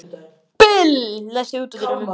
Bill, læstu útidyrunum.